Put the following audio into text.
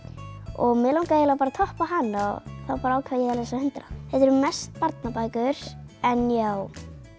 og mig langaði bara að toppa hana og þá ákvað ég að lesa hundrað þetta eru mest barnabækur en já